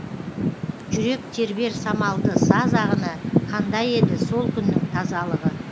жүрек тербер самалды саз ағыны қандай еді сол күннің тазалығы